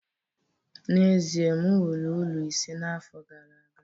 n'ezie, m wuru ụlọ ise n'afọ gara aga